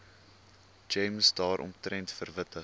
gems daaromtrent verwittig